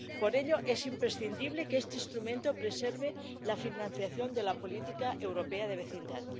Por ello, es imprescindible que este instrumento preserve la financiación de la política europea de vecindad.